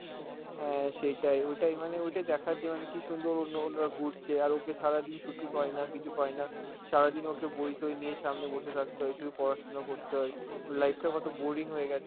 হ্যাঁ সেটাই, ওটাই মানে ওটাই দেখার্য আমি~ কি সুন্দর অন্য~ অন্যরা ঘুরছে আর ওকে সারাদিন ছুটি পায় না, কিছু পায় না, সারাদিন ওকে বইতোই নিয়ে সামনে বসে থাকতে হয়, শুধু পড়াশোনা করতে হয়, ওর life টা কত boring হয়ে গেছে,